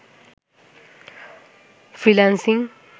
freelancing